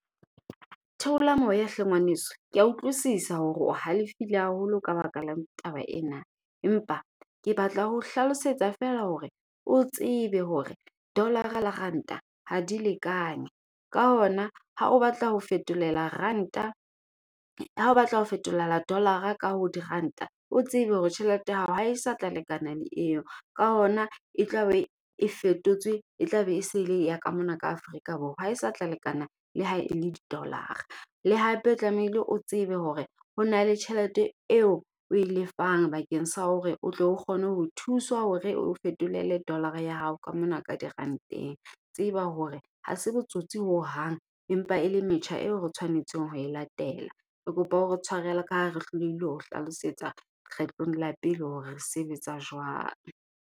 Theola moya hle ngwaneso, kea utlwisisa hore o halefile haholo ka baka lang taba ena. Empa ke batla ho hlalosetsa feela hore o tsebe hore dollar-ra le ranta ha di lekane. Ka hona ha o batla ho fetolela ranta, ha o batla ho fetolela dollar-ra ka ho diranta, o tsebe hore tjhelete ya hao ha e sa tla lekana le eo. Ka hona e tla be e fetotswe e tla be e se le ya ka mona ka Afrika Borwa. Ha e sa tla lekana le ha e le di-dollar-ra. Le hape o tlamehile o tsebe hore ho na le tjhelete eo oe lefang bakeng sa hore o tlo kgone ho thuswa hore o fetolele dollar-ra ya hao ka mona ka diranteng. Tseba hore ha se botsotsi hohang empa e le metjha eo re tshwanetseng ho e latela. Re kopa ore tshwarele ka ha re hlolehile ho hlalosetsa kgetlong la pele hore re sebetsa jwang.